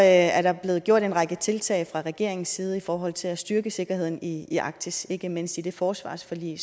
er der blevet gjort en række tiltag fra regeringens side i forhold til at styrke sikkerheden i i arktis ikke mindst i det forsvarsforlig